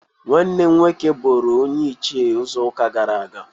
Nwanne m nwoke buru onye Ichịe izu uka gara aga.